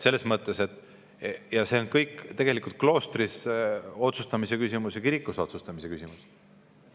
Selles mõttes on see kõik tegelikult kloostris otsustamise küsimus ja kirikus otsustamise küsimus.